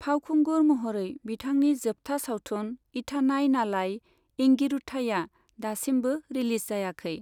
फावखुंगुर महरै बिथांनि जोबथा सावथुन 'इथानाई नालाई एंगिरुथाई'आ दासिमबो रिलिज जायाखै।